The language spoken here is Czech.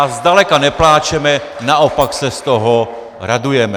A zdaleka nepláčeme, naopak se z toho radujeme.